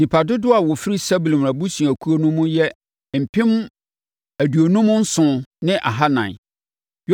Nnipa dodoɔ a wɔfiri Sebulon abusuakuo no mu yɛ mpem aduonum nson ne ahanan (57,400).